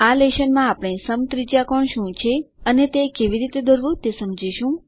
આ લેશન માં આપણે સમત્રિજ્યાકોણ શું છે અને તે કેવી રીતે દોરવું તે સમજીશું